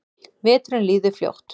Veturinn líður fljótt.